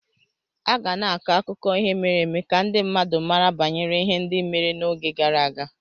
A ga na-akọ akụkọ ihe mere eme ka ndị mmadụ mara banyere ihe ndị mere n'oge gara aga